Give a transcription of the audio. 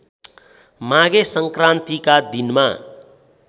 माघे सङ्क्रान्तिका दिनमा